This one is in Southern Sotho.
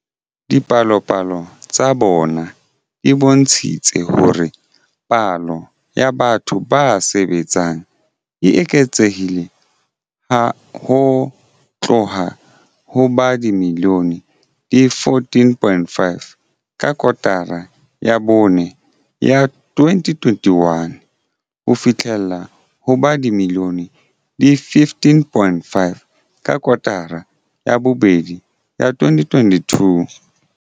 Dipalopalo tsa bona di bontshitse hore palo ya batho ba sebetsang e eketsehile ho tloha ho ba dimilione di 14.5 ka kotara ya bone ya 2021 ho fihlela ho ba dimilione di 15.5 ka kotara ya bobedi ya 2022.